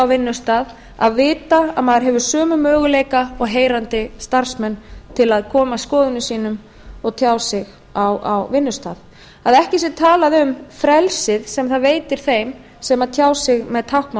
vinnustað að vita að maður hefur sömu möguleika og heyrandi starfsmenn til að koma skoðunum sínum og tjá sig á vinnustað að ekki sé talað um frelsið sem það veitir þeim sem tjá sig með